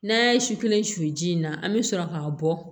N'a ye su kelen su ji in na an bɛ sɔrɔ k'a bɔ